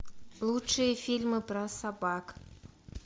лучшие фильмы про собак